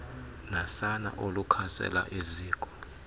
nasana olukhasela eziko